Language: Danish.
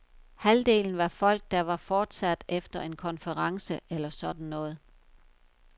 Halvdelen var folk, der var fortsat efter en konference eller sådan noget.